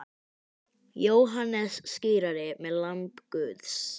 Jóhannes skírari með lamb Guðs.